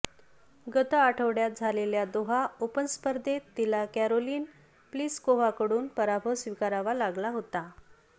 गत आठवडय़ात झालेल्या दोहा ओपन स्पर्धेत तिला कॅरोलिन प्लिसकोव्हाकडून पराभव स्वीकारावा लागला होता